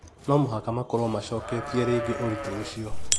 no mũhaka makorwo macoketie rĩngĩ ũritũ ũcio.